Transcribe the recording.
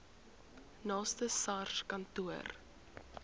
naaste sars kantoor